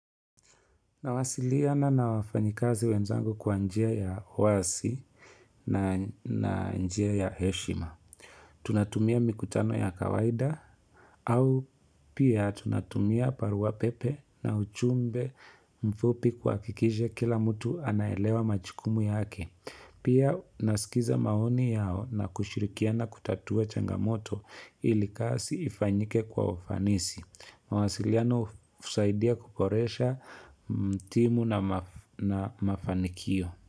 Nawasiliana na wafanyikazi wenzangu kwa njia ya wazi na njia ya heshima. Tunatumia mikutano ya kawaida au pia tunatumia barua pepe na ujumbe mfupi kuhakikisha kila mtu anaelewa majukumu yake. Pia nasikiza maoni yao na kushirikiana kutatua changamoto ili kazi ifanyike kwa ufanisi. Mawasiliano husaidia kuboresha timu na mafanikio.